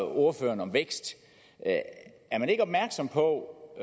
ordføreren om vækst er man ikke opmærksom på